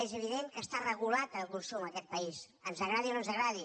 és evident que està regulat el consum en aquest país ens agradi o no ens agradi